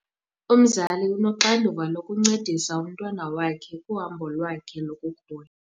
Umzali unoxanduva lokuncedisa umntwana wakhe kuhambo lwakhe lokukhula.